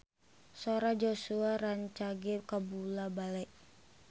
Sora Joshua rancage kabula-bale